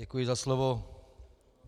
Děkuji za slovo.